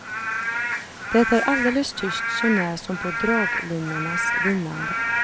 Det är alldeles tyst sånär som på draglinornas vinande.